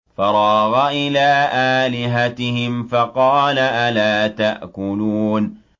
فَرَاغَ إِلَىٰ آلِهَتِهِمْ فَقَالَ أَلَا تَأْكُلُونَ